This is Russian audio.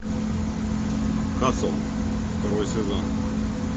касл второй сезон